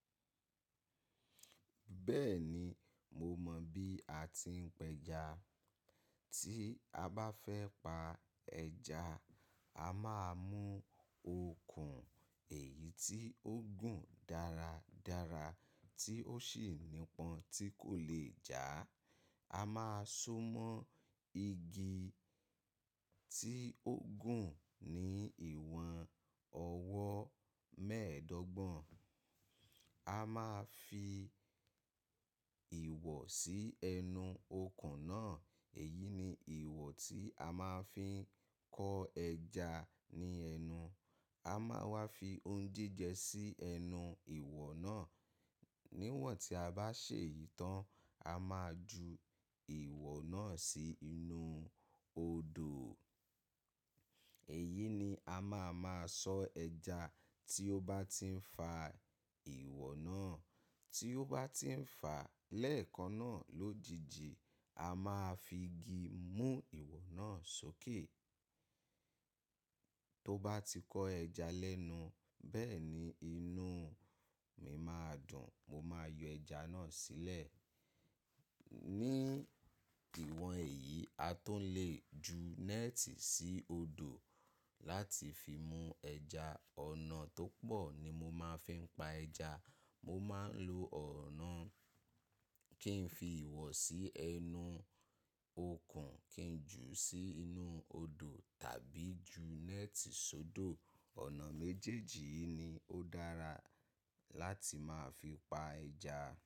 Bẹ́ẹ̀ni, mo mọ̀ bí a ti ń pẹja. Tí a bá fẹ́ pa ẹja, a máa mú okùn, èyí tí ó gùn dáradára tí ó sì nípọn tí kò le è jà. A máa so mọ́ igi tí ó gùn ní ìwọ̀n ọwọ́ mẹ́ẹ̀ẹ́dọ́gbọ̀n. A máa fi ìwọ̀ sí ẹnu okùn náà, èyí ni ìwọ̀ tí a máa fi ń kọ́ ẹja ní ẹnu. A máa wá fi oúnjíjẹ sí ẹnu ìwọ̀ náà. Níwọ̀n tí a bá ṣe yìí tán, a máa ju ìwọ̀ náà sí inú odò. Èyí ni a máa máa sọ ẹja tí ó bá ti ń fa ìwọ̀ náà. Tí ó bá ti ń fà lẹ́ẹ̀kan náà lójijì, a máa fi igi mú ìwọ̀ náà sókè. Tó bá ti kọ́ ẹja lẹ́nu, bẹ́ẹ̀ni, inú mi máa dùn, mo máa yọ ẹja náà sílẹ̀. Ní ìwọ̀n èyí, a tó lè ju nẹ́ẹ̀tì sí odò láti fi mú ẹja. Ọ̀nà tó pọ̀ ni mo máa ń fi pa ẹja. Mo máa ń lo ọ̀nà kí n fi ìwọ̀ sí ẹnu okùn, kí n jù ú sí inú odò tàbí ju nẹ́ẹ̀tì sódò. Ọ̀nà méjèèjì yìí ni ó dára láti máa fi pa ẹja.